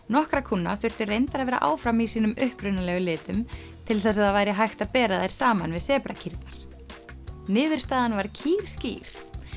nokkrar kúnna þurftu reyndar að vera áfram í sínum upprunalegu litum til þess að það væri hægt að bera þær saman við sebrakýrnar niðurstaðan var kýrskýr